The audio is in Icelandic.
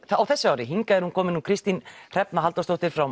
þessu ári hingað er komin Kristín Hrefna Halldórsdóttir frá